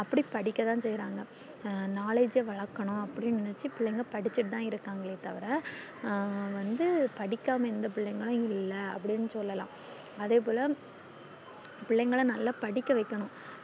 அப்டி படிக்கததா செய்றாங்க knowledge வளக்கணும் அப்டின்னு நெனச்சி பிள்ளைங்க படிச்சிட்டு தான் இருகங்காலே தவற அஹ் வந்து படிக்காம எந்த பிள்ளைகளும் இல்ல அப்டின்னு சொல்லல்லாம் அதே போல பிள்ளைகள நல்லா படிக்க வைக்கணும்